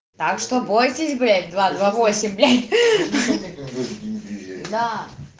так что бойтесь блять два два восемь бля да